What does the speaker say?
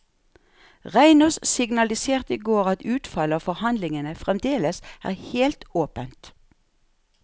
Reinås signaliserte i går at utfallet av forhandlingene fremdeles er helt åpent.